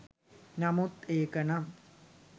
නමුත් ඒකනම්